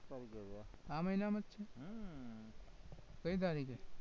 આ મહિનામાં છે? કઈ તારીખે?